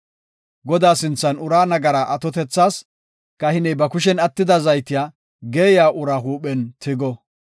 Godaa sinthan uraa nagaraa atotethas kahiney ba kushen attida zaytiya geeyiya uraa huuphen tigo.